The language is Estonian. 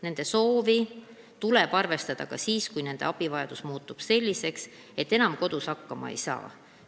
Nende soovi tuleb arvestada ka siis, kui nende abivajadus muutub selliseks, et nad enam kodus hakkama ei saa.